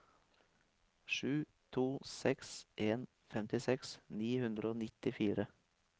sju to seks en femtiseks ni hundre og nittifire